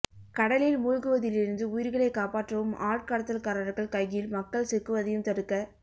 கடலில் மூழ்குவதிலிருந்து உயிர்களை காப்பாற்றவும் ஆட்கடத்தல்காரர்கள் கையில் மக்கள் சிக்குவதையும் தடுக்க